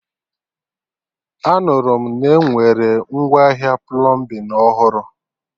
Anụrụ m na-enwere ngwaahịa plọmbin ọhụrụ